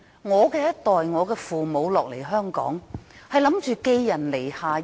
我父母一代來香港，只是打算暫時寄人籬下。